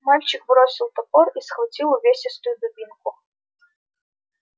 мальчик бросил топор и схватил увесистую дубинку